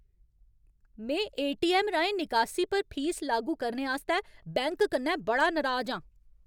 में एटीऐम्म राहें निकासी पर फीस लागू करने आस्तै बैंक कन्नै बड़ा नराज आं।